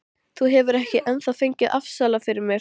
Sjaldan á ævinni hef ég orðið fegnari óvæntri aðstoð.